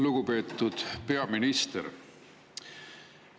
Lugupeetud peaminister!